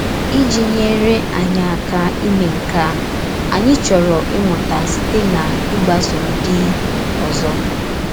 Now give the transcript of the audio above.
Ìjì nyèrè ànyì àkà ímè nke a, ànyì chòrọ̀ ìmụ̀tà sītè n’ịgbàso ndí òzò.